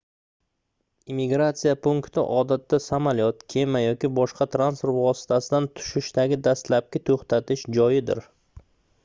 immigratsiya punkti odatda samolyot kema yoki boshqa transport vositasidan tushishdagi dastlabki toʻxtatish joyidir